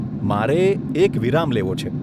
મારે એક વિરામ લેવો છે.